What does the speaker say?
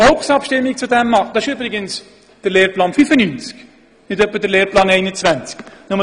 Das ist übrigens der Lehrplan 95, nicht etwa der Lehrplan 21.